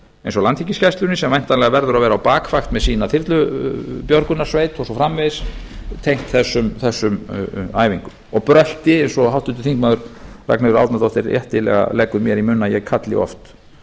eins og landhelgisgæslunni sem væntanlega verður að vera á bakvakt með sína þyrlubjörgunarsveit og svo framvegis tengt þessum æfingum og brölti eins og háttvirtur þingmaður ragnheiður árnadóttir réttilega leggur mér í munn að ég kalli oft